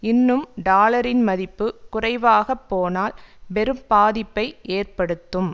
இன்னும் டாலரின் மதிப்பு குறைவாக போனால் பெரும்பாதிப்பை ஏற்படுத்தும்